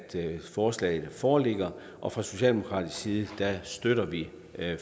forslaget foreligger og fra socialdemokratisk side støtter vi